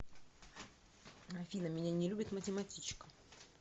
афина меня не любит математичка